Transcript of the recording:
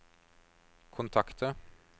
kontakter